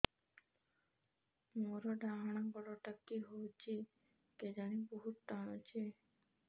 ମୋର୍ ଡାହାଣ୍ ଗୋଡ଼ଟା କି ହଉଚି କେଜାଣେ ବହୁତ୍ ଟାଣୁଛି